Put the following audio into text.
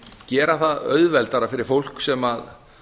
gera það auðveldara fyrir fólk sem